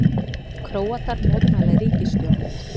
Króatar mótmæla ríkisstjórninni